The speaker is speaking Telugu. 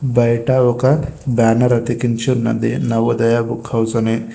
బయట ఒక బ్యానర్ అతికించి ఉన్నది నవోదయ బుక్ హౌస్ అని.